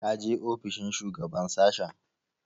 Ka je ofishin shugaban sashen?